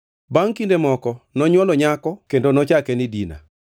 Bangʼ kinde moko nonywolo nyako kendo nochake ni Dina.